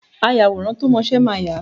Ayàwòrán tó mọ́ṣẹ máa yà á.